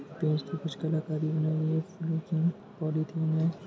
कुछ कलाकारी बनायीं गयी है पॉलीथिन है।